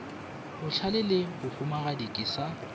bohlale le bahumagadi ke sa